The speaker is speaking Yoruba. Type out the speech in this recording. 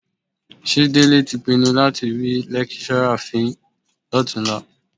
Ṣé Délé tí pinnu láti rí lẹ́kíṣọ́rà fín lọ́tùnúnlá?